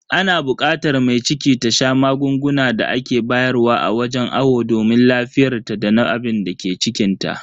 Ana bukatar mai ciki ta sha magungunan da ake bayar wa a wajen awo domin lafiyarta dana abinda ke cikinta.